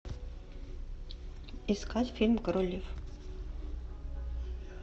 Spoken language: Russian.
искать фильм король лев